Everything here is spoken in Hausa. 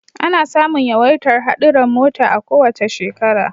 Ana samun yawaitar hadurran mota a kowace shekara